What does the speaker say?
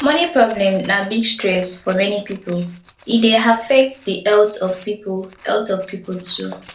money problem na big stress for many people e dey affect di health of pipo health of pipo too